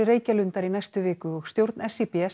Reykjalundar í næstu viku og stjórn